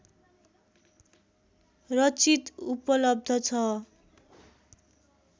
रचित उपलब्ध छ